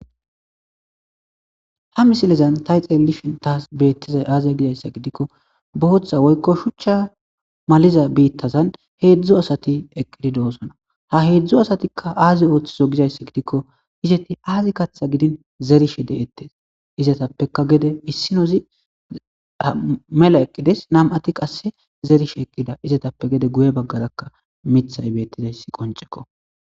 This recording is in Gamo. Ha misilezan tay xeelishin taas beettizay aaziya gidayssa gidikko bohoththa woykko shuchcha maliza biittazan heedzdzo asati eqqididoosona ha heedzdzo asatikka aazi ooththizo gizayssa gidikko izeti aazi katha gidin zerishe deettes izatappeka gede issinozi mela eqqides nam7ati qasse zerishe eqqida izatappe gede guye baggarakka mithay beettizayssi qonceko.